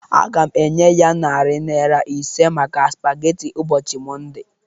Aga m enye ya narị naira ise maka spaghetti ụbọchị Mọnde